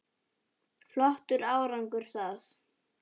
Flottur árangur það.